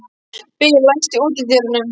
Bill, læstu útidyrunum.